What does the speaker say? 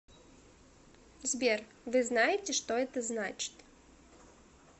сбер вы знаете что это значит